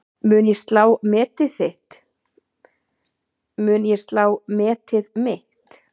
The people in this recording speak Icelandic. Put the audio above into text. Mun ég slá metið mitt?